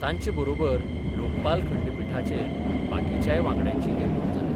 तांचे बरोबर लोकपाल खंडपीठाचेर बाकीच्याय वांगड्यांची नेमणूक जाल्या.